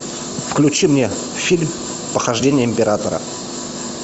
включи мне фильм похождения императора